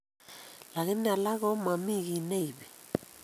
Lakini alak ko momii kii neibii